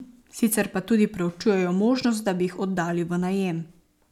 Sicer pa tudi preučujejo možnost, da bi jih oddali v najem.